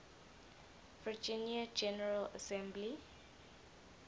virginia general assembly